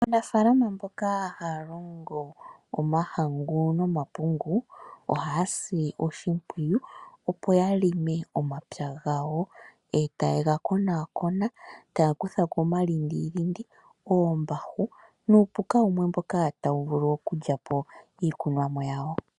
Aanafalama mboka haya longo omahangu no mapungu, ohaya si oshimpwiyu opo ya longe omapya gayo. Eta ye ga konakona, taya kutha ko oma lindilindi ,oombahu, nuu puka wumwe mboka tawu vulu oku lya po iikunwa mo yawo.